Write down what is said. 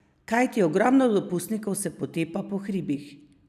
Kajti ogromno dopustnikov se potepa po hribih!